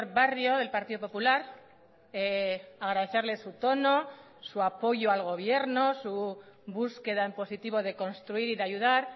barrio del partido popular agradecerle su tono su apoyo al gobierno su búsqueda en positivo de construir y de ayudar